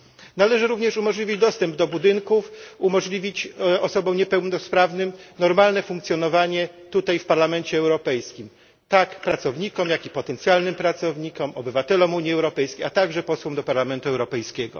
Należy również umożliwić dostęp tym osobom do budynków, umożliwić osobom niepełnosprawnym normalne funkcjonowanie tutaj, w Parlamencie Europejskim, tak pracownikom, jak i potencjalnym pracownikom, obywatelom Unii Europejskiej, a także posłom do Parlamentu Europejskiego.